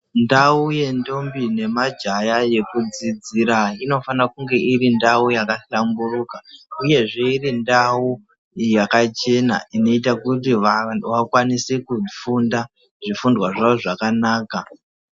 Ndau yendombi nemajaya yekudzidzira inofanaire kunge iri ndau yakahlamburuka uyezve irindau yakachena inoita kuti vanhu vakwanise kufunda zvifundwa zvavo zvakanaka.